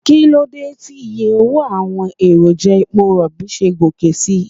Kíló dé tí iye owó àwọn èròjà epo Rọ̀bì ṣe ń gòkè síi?